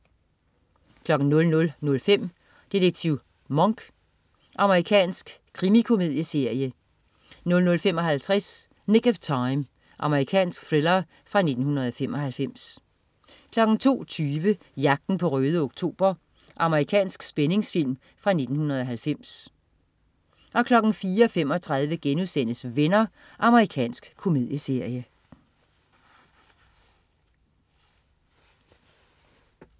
00.05 Detektiv Monk. Amerikansk krimikomedieserie 00.55 Nick of Time. Amerikansk thriller fra 1995 02.20 Jagten på Røde Oktober. Amerikansk spændingsfilm fra 1990 04.35 Venner.* Amerikansk komedieserie